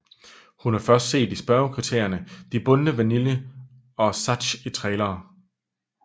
Hun er først set i spørgekriterierne de bundne Vanille og Sazh i trailere